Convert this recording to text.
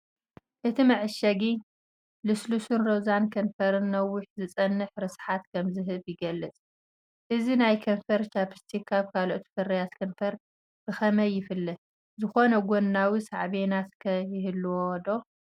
እቲ መዐሸጊ ልስሉስን ሮዛን ከንፈርን ነዊሕ ዝጸንሕ ርስሓትን ከም ዝህብ ይገልጽ። እዚ ናይ ከንፈር ቻኘስቲክ ካብ ካልኦት ፍርያት ከንፈር ብኸመይ ይፍለ? ዝኾነ ጎናዊ ሳዕቤናት ከ ይህሉዎ ዶ?